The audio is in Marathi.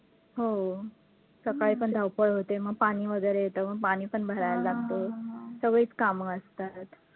हो, सकाळी पण धावपळ होते, मग पाणी वैगरे येतं, मग पाणी पण भरायला लागतं, सगळीचं कामं असतात.